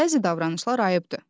Bəzi davranışlar ayıbdır.